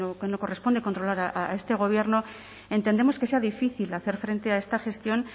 no corresponde controlar a este gobierno entendemos que sea difícil hacer frente a esta gestión